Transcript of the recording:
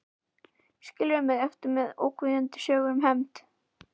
Skilur mig eftir með ógnvekjandi sögur um hefnd.